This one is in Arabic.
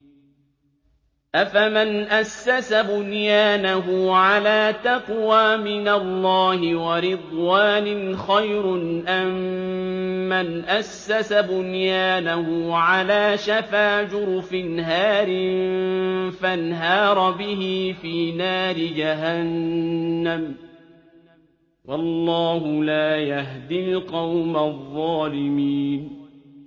أَفَمَنْ أَسَّسَ بُنْيَانَهُ عَلَىٰ تَقْوَىٰ مِنَ اللَّهِ وَرِضْوَانٍ خَيْرٌ أَم مَّنْ أَسَّسَ بُنْيَانَهُ عَلَىٰ شَفَا جُرُفٍ هَارٍ فَانْهَارَ بِهِ فِي نَارِ جَهَنَّمَ ۗ وَاللَّهُ لَا يَهْدِي الْقَوْمَ الظَّالِمِينَ